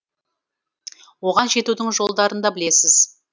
оған жетудің жолдарын да білесіз